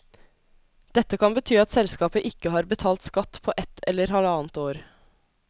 Dette kan bety at selskapet ikke har betalt skatt på ett eller halvannet år.